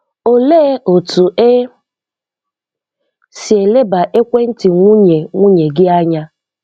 Olee otú e si eleba ekwéntì nwunye nwunye gị anya?